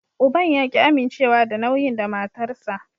Uban ya ki amincewa da nauyin dan matarsa.